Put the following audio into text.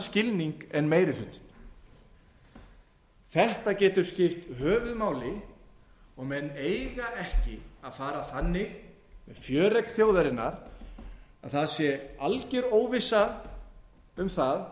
skilning en meiri hlutinn þetta getur skipt höfuðmáli og menn eiga ekki að fara þannig með fjöregg þjóðarinnar að það sé algjör óvissa um það